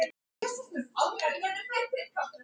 Ég hrökk við þegar hún sagði þetta.